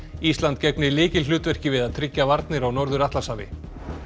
ísland gegni lykilhlutverki við að tryggja varnir á Norður Atlantshafi